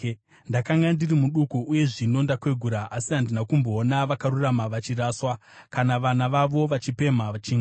Ndakanga ndiri muduku uye zvino ndakwegura, asi handina kumboona vakarurama vachiraswa, kana vana vavo vachipemha chingwa.